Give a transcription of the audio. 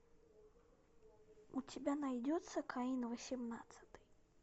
у тебя найдется каин восемнадцатый